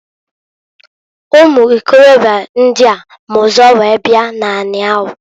Ụmụ ikorobịa ndịa ma ụzọ wee bia n'ani ahụ.